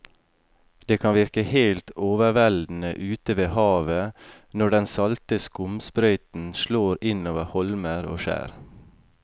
Det kan virke helt overveldende ute ved havet når den salte skumsprøyten slår innover holmer og skjær.